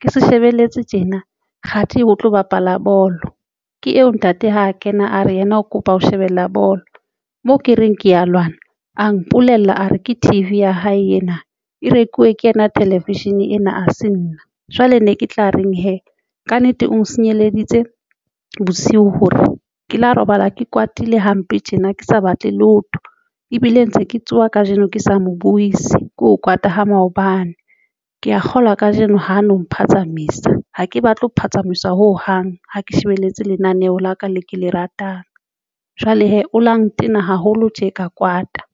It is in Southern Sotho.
ke se shebelletse tjena kgathi ho tlo bapala bolo ke eo ntate ha a kena, a re yena o kopa ho shebella bolo mo ke reng ke ya lwana, a mpolella a re ke T_V ya hae ena e rekiwe ke yena television ena ha se nna jwale ne ke tla reng hee. Kannete o nsenyeleditse bosiu hore ke lo robala ke kwatile hampe tjena ke sa batle lotho ebile ntse ke tsoha kajeno, ke sa mo buyisi ke kwata ho maobane ke ya kgolwa kajeno ho no mphazamisa ha ke batle ho phatsamisa ho hang. Ha ke shebelletse lenaneo la ka le ke le ratang jwale hee o lo ntena haholo tje ka kwata.